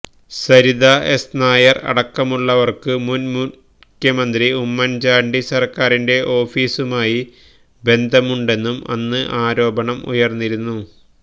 Saritha S Nair അടക്കമുള്ളവര്ക്കു മുന് മുഖ്യമന്ത്രി ഉമ്മന് ചാണ്ടി സര്ക്കാരിന്റെ ഓഫീസുമായി ബന്ധമുണ്ടെന്നും അന്ന് ആരോപണം ഉയര്ന്നിരുന്നു